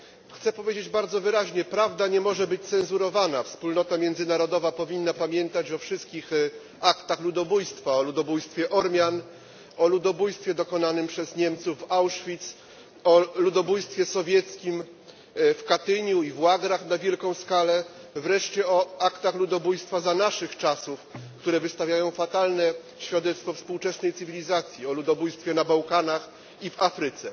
Chcę powiedzieć bardzo wyraźnie prawda nie może być cenzurowana, wspólnota międzynarodowa powinna pamiętać o wszystkich aktach ludobójstwa o ludobójstwie Ormian, o ludobójstwie dokonanym przez Niemców w Auschwitz, o ludobójstwie sowieckim w Katyniu i w łagrach na wielką skalę, wreszcie o aktach ludobójstwa za naszych czasów, które wystawiają fatalne świadectwo współczesnej cywilizacji o ludobójstwie na Bałkanach i w Afryce.